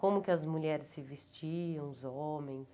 Como que as mulheres se vestiam, os homens.